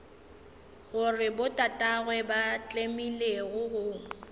gore botatagwe ba tlemile go